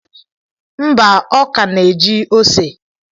Mba, ọ ka na-eji ose.